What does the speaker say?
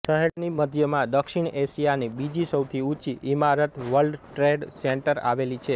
શહેરની મધ્યમાં દક્ષિણ એશિયાની બીજી સૌથી ઊંચી ઇમારત વર્લ્ડ ટ્રેડ સેન્ટર આવેલી છે